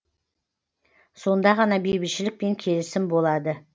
сонда ғана бейбітшілік пен келісім болады